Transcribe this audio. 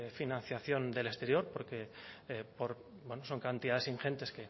financiación del exterior porque son cantidades ingentes